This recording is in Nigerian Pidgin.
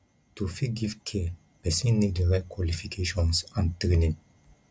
to fit give care persin need di right qualifications and training